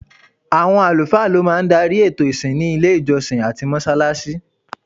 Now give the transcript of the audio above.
Awọn alufaa ló máa ń darí ètò ìsìn ní ilé ìjọsìn àti mọ́ṣáláṣí